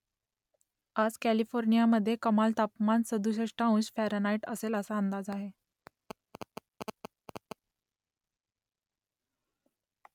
आज कॅलिफोर्नियामध्ये कमाल तापमान सदुसष्ट अंश फॅरनहाईट असेल असा अंदाज आहे